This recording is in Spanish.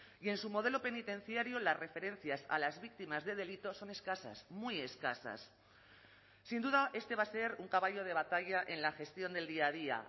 y en su modelo penitenciario las referencias a las víctimas de delitos son escasas muy escasas sin duda este va a ser un caballo de batalla en la gestión del día a día